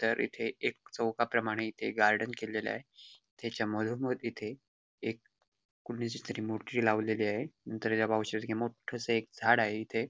तर इथे एक चौकाप्रमाणे इथे गार्डन केल आहे त्याच्या मधोमध इथे एक कुणाची तरी मूर्ती लावलेली आहेत नंतर त्या मो ठ्ठस एक झाड आहे इथे.